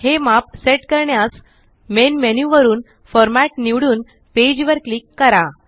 हे माप सेट करण्यास मेन मेन्यु वरून फॉर्मॅट निवडून पेज वर क्लिक करा